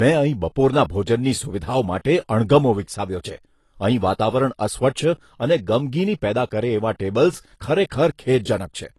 મેં અહીં બપોરના ભોજનની સુવિધાઓ માટે અણગમો વિકસાવ્યો છે અહીં વાતાવરણ અસ્વચ્છ અને ગમગીની પેદા કરે એવાં ટેબલ્સ ખરેખર ખેદજનક છે.